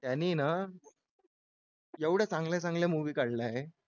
त्यांनी ना एवढं चांगल्या चांगल्या movie काढल्या आहे